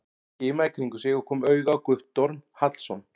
Hann skimaði í kringum sig og kom auga á Guttorm Hallsson.